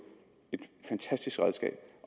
et fantastisk redskab